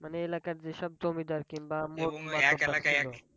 মানে এলাকার যেসব জমিদার কিংবা,